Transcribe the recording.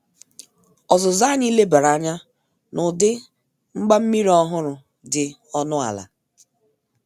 Ọzuzụ anyi lebara anya n' udi mgbammiri ọhụrụ dị ọnụ ala